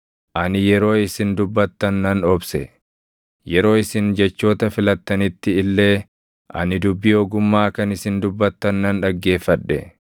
Ani yeroo isin dubbattan nan obse; yeroo isin jechoota filattanitti illee ani dubbii ogummaa kan isin dubbattan nan dhaggeeffadhe;